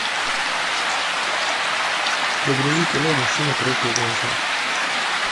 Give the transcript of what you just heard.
загрузи кино мужчина против женщины